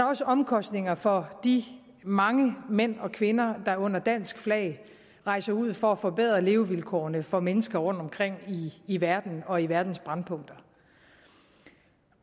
også omkostninger for de mange mænd og kvinder der under dansk flag rejser ud for at forbedre levevilkårene for mennesker rundtomkring i verden og i verdens brændpunkter